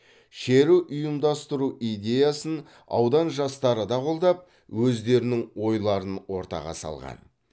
шеру ұйымдастыру идеясын аудан жастары да қолдап өздерінің ойларын ортаға салған